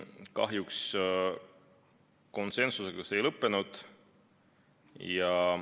Kahjuks konsensusega see ei lõppenud.